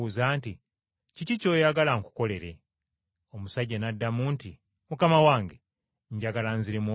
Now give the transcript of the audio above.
“Kiki ky’oyagala nkukolere?” Omusajja n’addamu nti, “Mukama wange, njagala nziremu okulaba!”